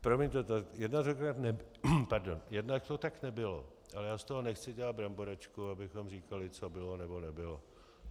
Promiňte, jednak to tak nebylo, ale já z toho nechci dělat bramboračku, abychom říkali, co bylo nebo nebylo.